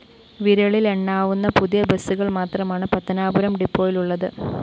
വിരലിലെണ്ണാവുന്ന പുതിയ ബസുകള്‍ മാത്രമാണ് പത്തനാപുരം ഡിപ്പോയിലുള്ളത്